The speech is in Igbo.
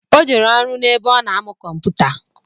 O jere ọrụ n'ebe ọ na-amụ kụmpụta